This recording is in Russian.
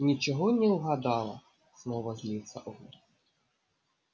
ничего не угадала снова злится он